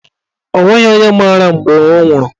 O nweghị onye mara mgbe ọ nwụrụ.